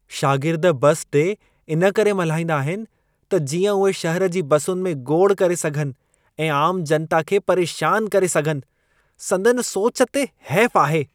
शागिर्द बस डे इन करे मल्हाईंदा आहिन त जीअं उहे शहर जी बसुनि में गोड़ करे सघनि ऐं आम जनता खे परेशान करे सघनि। संदनि सोच ते हैफ़ आहे।